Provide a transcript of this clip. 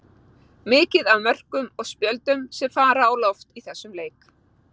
Mikið af mörkum og spjöldum sem fara á loft í þessum leik.